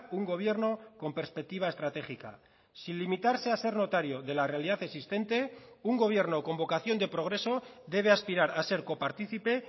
un gobierno con perspectiva estratégica sin limitarse a ser notario de la realidad existente un gobierno con vocación de progreso debe aspirar a ser coparticipe